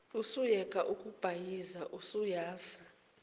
usuyeke ukubhayiza usuyazi